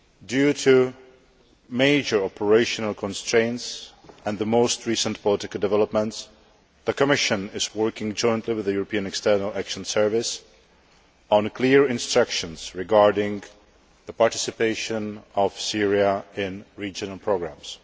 Due to major operational constraints and the most recent political developments, the Commission is working jointly with the European External Action Service on clear instructions regarding the participation of Syria in regional programmes.